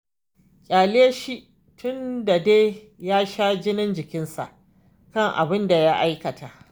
Ƙyale shi tun da dai ya sha jinin jikinsa kan abin da ya aikata.